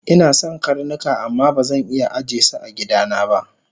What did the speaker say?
Inason karnuka amma bazan iya ajesu agidana ba